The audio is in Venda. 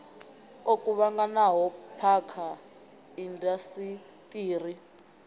o kuvhanganaho phakha ya indasiṱiri